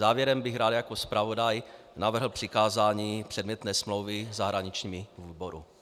Závěrem bych rád jako zpravodaj navrhl přikázání předmětné smlouvy zahraničnímu výboru.